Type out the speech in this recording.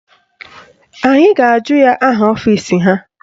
Anyị ga-ajụ ya aha ọfisi ha